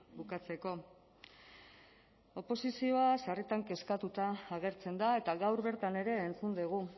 bukatzeko oposizioa sarritan kezkatuta agertzen da eta gaur bertan ere entzun dugu